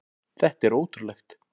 Þetta er ótrúlegt!